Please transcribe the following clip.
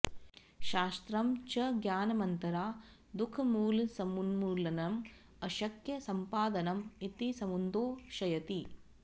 शास्त्रं च ज्ञानमन्तरा दुःखमूलसमुन्मूलनं अशक्य सम्पादनं इति समुद्घोषयति